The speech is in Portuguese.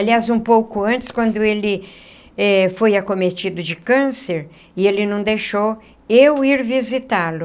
Aliás, um pouco antes, quando ele eh foi acometido de câncer, ele não deixou eu ir visitá-lo.